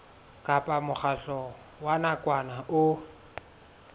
kapa mokgatlo wa nakwana o